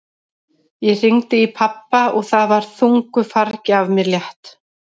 Ég hringdi í pabba og það var þungu fargi af mér létt.